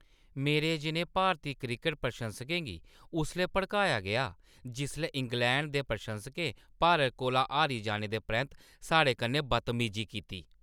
मेरे जनेहे भारती क्रिकट प्रशंसकें गी उसलै भड़काया गेआ जिसलै इंग्लैंड दे प्रशंसकें भारत कोला हारी जाने दे परैंत्त साढ़े कन्नै बदतमीजी कीती।